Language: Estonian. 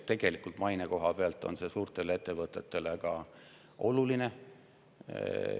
Tegelikult on see ka maine koha pealt suurtele ettevõtetele oluline.